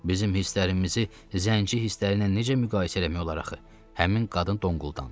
Bizim hisslərimizi zənci hissləriylə necə müqayisə eləmək olar axı, həmin qadın donquldandı.